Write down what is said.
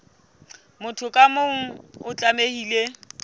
motho ka mong o tlamehile